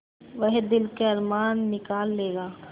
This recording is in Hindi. वह दिल के अरमान निकाल लेगा